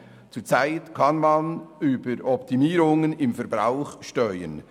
Zurzeit kann man den Verbrauch mittels Optimierungen steuern.